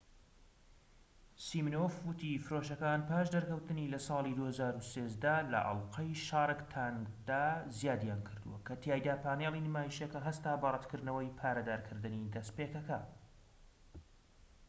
سیمینۆف وتی فرۆشەکان پاش دەرکەوتنی لە ساڵی 2013 لە ئەڵقەی شارک تانکدا زیادیان کردووە کە تیایدا پانێڵی نمایشەکە هەستا بە ڕەتکردنەوەی پارەدارکردنی دەستپێکەکە